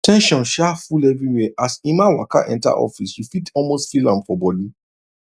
ten sion sha full everywhere as emma waka enter office you fit almost feel am for body